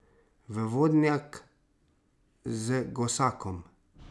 V vodnjak z gosakom!